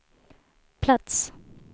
plats